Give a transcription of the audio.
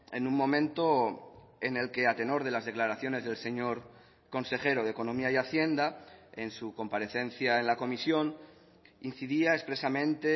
en un momento en el que a tenor de las declaraciones del señor consejero de economía y hacienda en su comparecencia en la comisión incidía expresamente